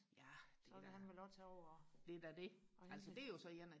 så kan han vel også tage over og hente